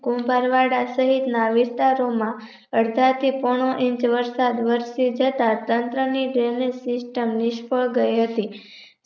કુંભારવાડા સહિતના વિસ્તારોમાં અડધાથી પોણો ઇંચ વરસાદ વરસિજતા ચન્દ્રની જેવી system નિષ્ફ્ળ ગઈ હતી